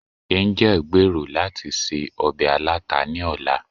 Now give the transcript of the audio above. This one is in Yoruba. angẹl gbèrò lati se obe alata ni ọla